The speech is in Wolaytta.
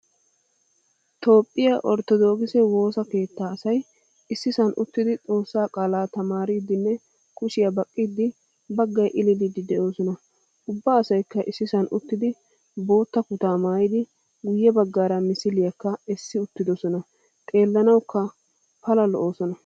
Toophphiyaa orttodokise woosaa keetta asay issiisan uttidi xoossaa qaala tamaaridinne kushiya baqqidi baggay illilidi deosona. Ubba asaykka issisan uttidi boottaa kutaa maayidi guye baggaara misiliyakka essi uttidosona. Xeelanawukka pala lo'osona.